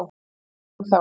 Ég sem þá.